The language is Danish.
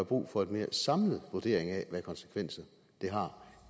brug for en mere samlet vurdering af hvad konsekvenser det har